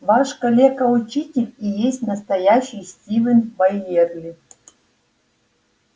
ваш калека-учитель и есть настоящий стивен байерли